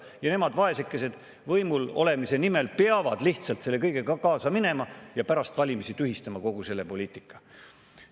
Ja nemad, vaesekesed, peavad võimul olemise nimel lihtsalt selle kõigega kaasa minema ja pärast valimisi tühistama kogu selle poliitika.